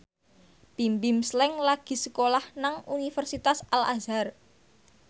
Bimbim Slank lagi sekolah nang Universitas Al Azhar